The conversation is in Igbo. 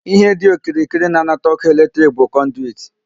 Ihe dị okirikiri na-anata ọkụ electric bụ conduit.